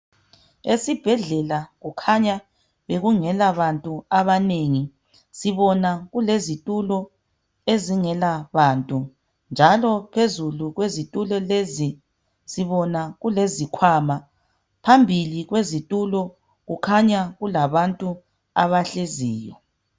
Esibhedlela kukhanya kungela bantu abanengi sibona kulezithule ezingela bantu njalo phezulu kwezitulo lezi sibona kulezikhwama phambili kwezitulo kukhanya kulabantu abahleziyo